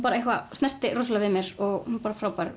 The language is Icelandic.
snerti rosalega við mér og er bara frábær